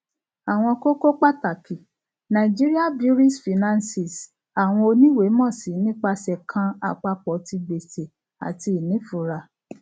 àwọn kókó pàtàkì nigerian breweries finances awọn oniwemosi nipasẹ kan apapo ti gbese ati inifura